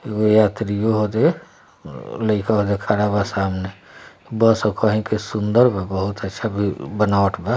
ये यात्री हो रहे लेईको अजा खड़ा बा सामने बस हो कही के सुन्दर बा बहुत है छबि बनाबट बा।